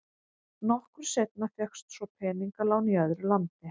Nokkru seinna fékkst svo peningalán í öðru landi.